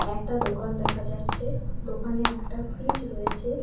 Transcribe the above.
একটা দোকান দেখা যাচ্ছে দোকানে একটা ফ্রিজ রয়েছে।